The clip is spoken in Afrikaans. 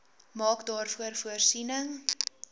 maak daarvoor voorsiening